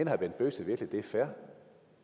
herre bent bøgsted virkelig det er fair